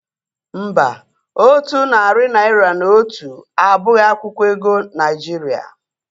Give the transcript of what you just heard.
Mba, otu narị naira na otu abụghị akwụkwọ ego Naijiria